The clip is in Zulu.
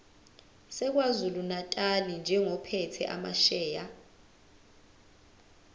sakwazulunatali njengophethe amasheya